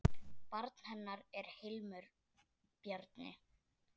Barn hennar er Hilmir Bjarni.